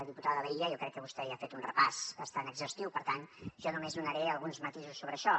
diputada laïlla jo crec que vostè ja ha fet un repàs bastant exhaustiu per tant jo només donaré alguns matisos sobre això